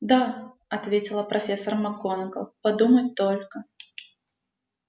да ответила профессор макгонагалл подумать только